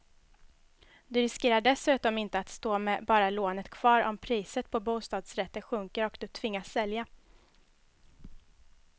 Du riskerar dessutom inte att stå med bara lånet kvar om priset på bostadsrätter sjunker och du tvingas sälja.